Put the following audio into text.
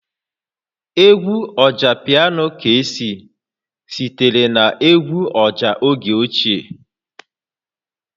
Egwu Ọjapiano Kcee sitere na egwu ọjà oge ochie